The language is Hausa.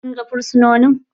Ka ga fursunonin?